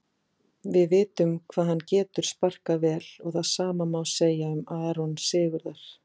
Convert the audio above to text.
Við vitum hvað hann getur sparkað vel og það sama má segja um Aron Sigurðar.